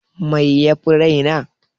Mai yafi rai na?